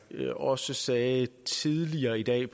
jeg også sagde tidligere i dag i